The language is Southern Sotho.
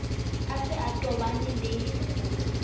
a se a tobane le